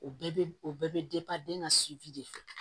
O bɛɛ bɛ o bɛɛ bɛ den ka de fɛ